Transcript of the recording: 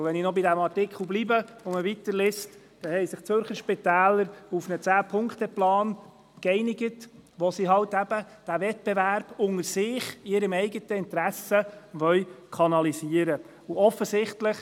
Bleibt man bei dem «NZZ»-Artikel und liest weiter, erfährt man, dass sich die Zürcher Spitäler auf einen Zehn-Punkte-Plan geeinigt haben, mit dem sie aus eigenem Interesse den gegenseitigen Wettbewerb kanalisieren wollen.